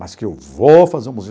Mas que eu vou fazer o museu.